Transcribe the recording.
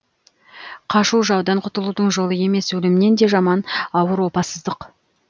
қашу жаудан құтылудың жолы емес өлімнен де жаман ауыр опасыздық